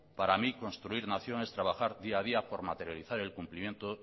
para mi construir nación es trabajar día a día por materializar el cumplimiento